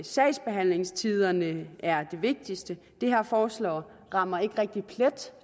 sagsbehandlingstiderne er det vigtigste det her forslag rammer ikke rigtig plet